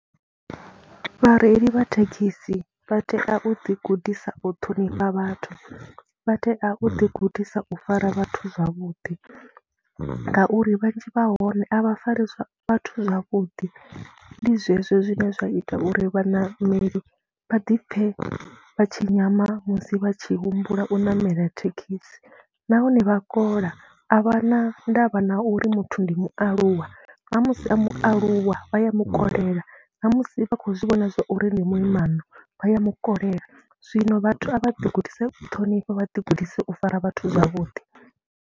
Vhareili vha thekhisi vha tea u ḓigudisa u ṱhonifha vhathu, vha tea u ḓigudisa u fara vhathu zwavhuḓi ngauri vhanzhi vha hone a vha fari vhathu zwavhuḓi. Ndi zwezwo zwine zwa ita uri vhaṋameli vha ḓi pfhe vha tshi nyama musi vha tshi humbula u ṋamela thekhisi nahone vha a kola, a vha na ndavha na uri muthu ndi mualuwa, na musi a mu vhaaluwa vha ya mu kolela, na musi vha khou zwi vhona zwa uri ndi muimana vha ya mu kolela. Zwino vhathu a vha ḓigudise ṱhonifha, vha ḓigudise u fara vhathu zwavhuḓi.